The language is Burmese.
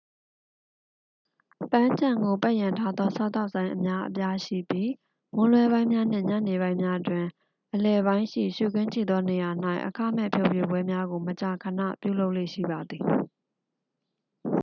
ပန်းခြံကိုပတ်ရံထားသောစားသောက်ဆိုင်အများအပြားရှိပြီး မွန်းလွဲပိုင်းများနှင့် ညနေပိုင်းများတွင် အလယ်ပိုင်းရှိ ရှုခင်းကြည့်သောနေရာ၌ အခမဲ့ဖျော်ဖြေပွဲများကို မကြာခဏပြုလုပ်လေ့ရှိပါသည်